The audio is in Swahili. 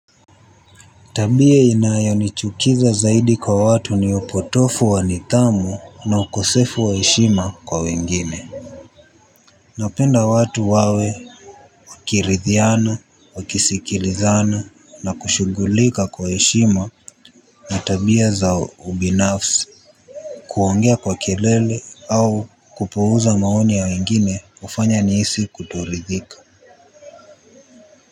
Tabia inayonichukiza zaidi kwa watu ni upotovu wa nidhamu na ukosefu wa heshima kwa wengine. Napenda watu wawe washirikiane wakisikilizana na kushughulika kwa heshima na tabia za ubinafsi. Kuongea kwa kelele au kupuuza maoni ya wengine hufanya nihisi kutoridhika.